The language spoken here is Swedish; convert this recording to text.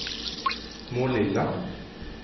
Målilla